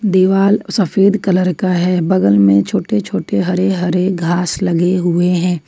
दीवाल सफेद कलर का है बगल में छोटे छोटे हरे हरे घास लगे हुए हैं।